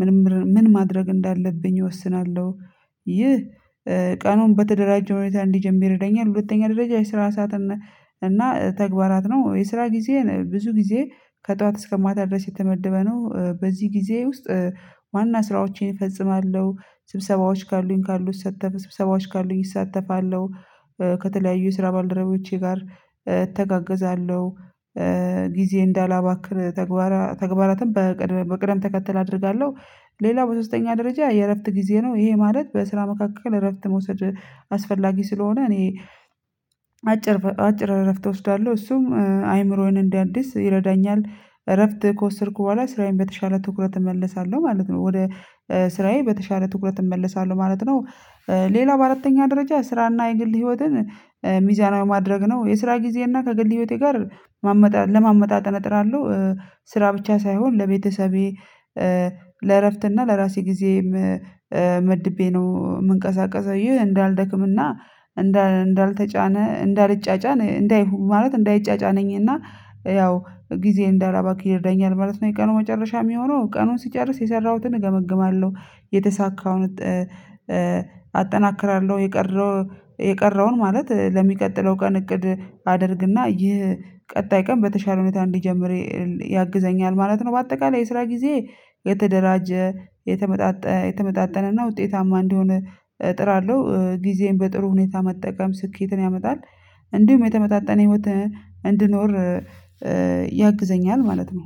ምን ምን ማድረግ እንዳለብኝ እወስናለሁ። ይህ ቀኑን በተደራጀ ሁኔታ እንድጀምር ይረዳኛል። ሁለተኛ ደረጃ የስራ ሰዓት እና ተግባራት ነው። የስራ ጊዜ ብዙ ጊዜ ከጧዋት እስከ ማታ ድረስ የተመደበ ነው። በዚህ ጊዜ ውስጥ ዋና ስራዎቼን እፈጽማለሁ። ስብሰባዎች ካሉኝ ካሉት እሳ ስብሰባዎች ካሉኝ እሳተፋለሁ። ከተለያዩ የስራ ባልደረቦቼ ጋር እተጋገዛለሁ። ጊዜ እንዳላባክን ተግባራትን በቅደም ተከተል አደርጋለሁ። ሌላ በሶስተኛ ደረጃ የእረፍት ጊዜ ነው። ይሄ ማለት በስራ መካከል እረፍት መውሰድ አስፈላጊ ስለሆነ እኔ አጭር አጭር እረፍት እወስዳለሁ እሱም አይምሮዬን እንዳድስ ይረዳኛል። እረፍት ከወሰድኩ በኋላ ስራዬን በተሻለ ትኩረት እመለሳለሁ ማለት ነው። ወደ ስራዬ በተሻለ ትኩረት እመለሳለሁ ማለት ነው። ሌላ በአራተኛ ደረጃ ስራና የግል ህይወትን ሚዛናዊ ማድረግ ነው። የስራ ጊዜና ከግል ህይወቴ ጋር ማመጣጠን ለማመጣጠን እጥራለሁ። ስራ ብቻ ሳይሆን ለቤተሰቤ ለእረፍት እና ለራሴ ጊዜም መድቤ ነው የምንቀሳቀሰው ይህ እንዳልደክምና እንዳልተጫነ እንዳልጫጫነ እንዳይሆን ማለት እንዳይጫጫነኝ እና ያው ጊዜ እንዳላባክን ይርዳኛል ማለት ነው። የቀኑ መጨረሻ የሚሆነው ቀኑን ስጨርስ የሰራሁትን እገመግማለሁ። የተሳካውን አጠናክራለሁ የቀረው የቀረውን ማለት ለሚቀጥለው ቀን እቅድ አድርግና ይህ ቀጣይ ቀን በተሻለ ሁኔታ እንዲጀምር ያግዘኛል ማለት ነው። በአጠቃላይ የስራ ጊዜ የተደራጀ የተመጣጠ የተመጣጠነና ውጤታማ እንደሆነ እጥራለሁ። ጊዜን በጥሩ ሁኔታ መጠቀም ስኬትን ያመጣል። እንዲሁም የተመጣጣነ ህይወት እንድኖር ያግዘኛል ማለት ነው።